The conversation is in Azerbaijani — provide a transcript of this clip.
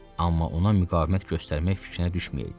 Amma ona müqavimət göstərmək fikrinə düşməyeydi.